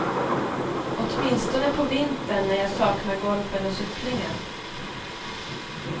Åtminstone på vintern, när jag saknar golfen och cyklingen.